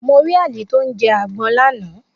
Mo rí Ali tó ń jẹ àgbon lánàá